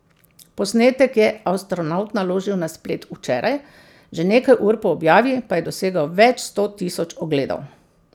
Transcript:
Posnetek je astronavt naložil na splet včeraj, že nekaj ur po objavi pa je dosegel več sto tisoč ogledov.